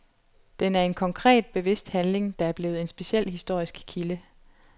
Den er en konkret, bevidst handling, der er blevet en speciel historisk kilde.